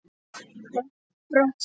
Þau brostu.